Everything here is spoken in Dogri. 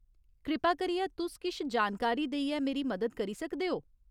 कृपा करियै तुस किश जानकारी देइयै मेरी मदद करी सकदे ओ ?